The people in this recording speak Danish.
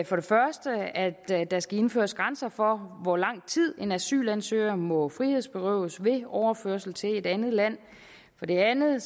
for det første at at der skal indføres grænser for hvor lang tid en asylansøger må frihedsberøves ved overførsel til et andet land for det andet